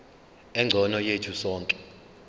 engcono yethu sonke